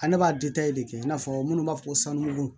Ale b'a de kɛ i n'a fɔ minnu b'a fɔ ko sanu don